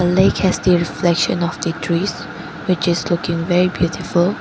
The lake has the reflection of the trees which is looking very beautiful.